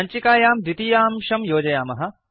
सञ्चिकायां द्वितीयांशं योजयामः